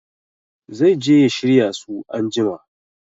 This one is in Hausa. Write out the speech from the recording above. Zai je ya shirya su anjima